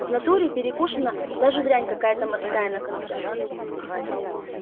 в натуре перекушена даже дрянь какая-то мокрая на конце